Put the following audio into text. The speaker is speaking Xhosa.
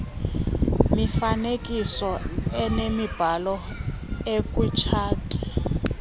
mifanekiso inemibala ekwitshati